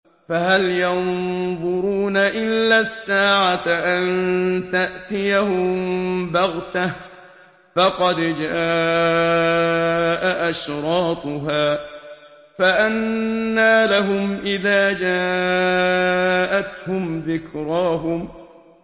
فَهَلْ يَنظُرُونَ إِلَّا السَّاعَةَ أَن تَأْتِيَهُم بَغْتَةً ۖ فَقَدْ جَاءَ أَشْرَاطُهَا ۚ فَأَنَّىٰ لَهُمْ إِذَا جَاءَتْهُمْ ذِكْرَاهُمْ